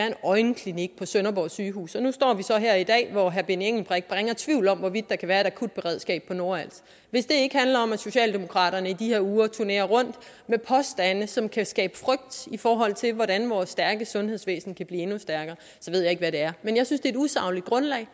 en øjenklinik på sønderborg sygehus og nu står vi så her i dag hvor herre benny engelbrecht bringer tvivl om hvorvidt der kan være et akutberedskab på nordals hvis det ikke handler om at socialdemokraterne i de her uger turnerer rundt med påstande som kan skabe frygt i forhold til hvordan vores stærke sundhedsvæsen kan blive endnu stærkere så ved jeg ikke hvad det er men jeg synes et usagligt grundlag